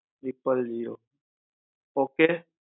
apple okay